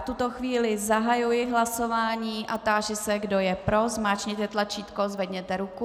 V tuto chvíli zahajuji hlasování a táži se, kdo je pro, zmáčkněte tlačítko, zvedněte ruku.